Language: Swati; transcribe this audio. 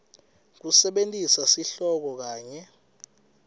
kusebentisa sihloko kanye